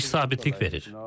İş sabitlik verir.